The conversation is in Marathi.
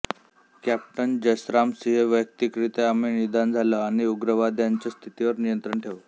कॅप्टन जसराम सिंह वैयक्तिकरित्या आम्ही निदान झालो आणि उग्रवाद्यांच्या स्थितीवर नियंत्रण ठेवू